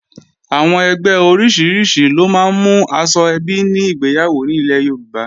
Àwọn ẹgbẹ́ oríṣiríṣi ló máa ń mú aṣọ ẹbí ní ìgbéyàwó ilẹ̀ Yorùbá